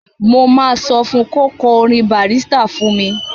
Mo máa sọ fún un kí ó kọ orin Bàrísítà fún mi.